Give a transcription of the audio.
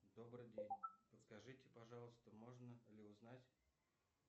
добрый день подскажите пожалуйста можно ли узнать